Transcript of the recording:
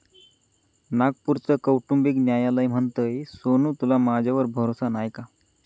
नागपूरचं कौटुंबिक न्यायालय म्हणतंय, सोनू तुला माझ्यावर भरोसा नाय काय?